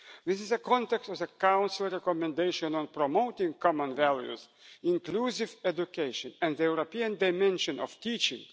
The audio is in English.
This is the context of the Council recommendation on promoting common values, inclusive education and the European dimension of teaching.